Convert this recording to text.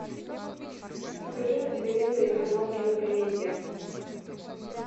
покажи на телевизоре канал кинокомедия